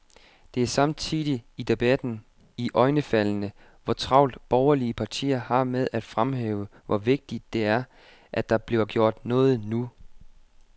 Det er samtidig, i debatten, iøjnefaldende, hvor travlt borgerlige partier har med at fremhæve, hvor vigtigt det er, at der bliver gjort noget nu.